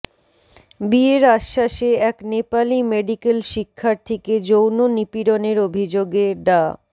বিয়ের আশ্বাসে এক নেপালি মেডিকেল শিক্ষার্থীকে যৌন নিপীড়নের অভিযোগে ডা